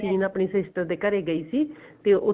scene ਆਪਣੇ sister ਦੇ ਘਰੇ ਗਈ ਸੀ ਤੇ ਉੱਥੇ